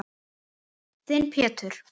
Þinn Pétur.